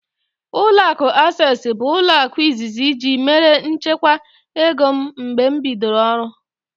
Ụlọakụ Asesi bụ ụlọaku izizi ji mère nchekwa ego m mgbe m bidoro ọrụ